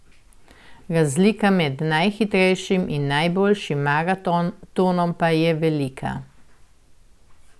Razlika med najhitrejšim in najboljšim maratonom pa je velika.